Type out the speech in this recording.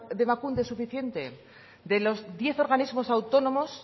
de emakunde es suficiente de los diez organismos autónomos